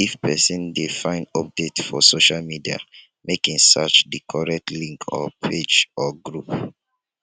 if persin de find update for socia media make in search di correct link or page or group